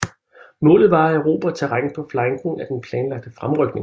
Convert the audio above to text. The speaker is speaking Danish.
Målet var at erobre terræn på flanken af den planlagte fremrykning